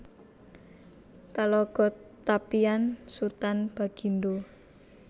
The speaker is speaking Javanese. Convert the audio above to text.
Talago Tapian Sutan Bagindo